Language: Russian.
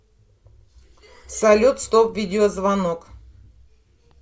салют стоп видеозвонок